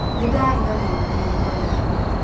Nĩndarĩganĩrwo nĩ rĩtwa rĩakũ.